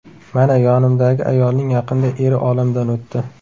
Mana yonimdagi ayolning yaqinda eri olamdan o‘tdi.